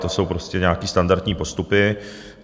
To jsou prostě nějaké standardní postupy.